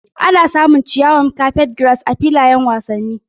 Ana samun ciyawar carpetgrass a filayen wasanni.